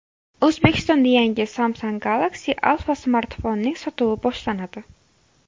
O‘zbekistonda yangi Samsung Galaxy Alpha smartfonining sotuvi boshlanadi.